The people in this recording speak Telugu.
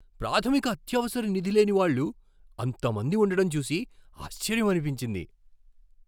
ప్రాథమిక అత్యవసర నిధి లేని వాళ్ళు అంతమంది ఉండడం చూసి ఆశ్చర్యమనిపించింది.